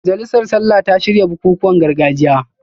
Majalisar Sallah ta shirya bukukuwan gargajiya